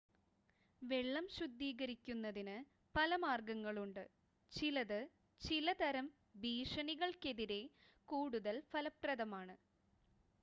വെള്ളം ശുദ്ധീകരിക്കുന്നതിന് പല മാർഗങ്ങളുണ്ട് ചിലത് ചിലതരം ഭീഷണികൾക്കെതിരെ കൂടുതൽ ഫലപ്രദമാണ്